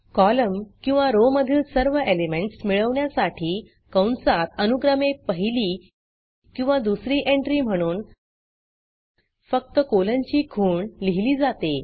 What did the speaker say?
column किंवा row मधील सर्व एलिमेंटस मिळवण्यासाठी कंसात अनुक्रमे पहिली किंवा दुसरी एंट्री म्हणून फक्त कोलनची खूण लिहिली जाते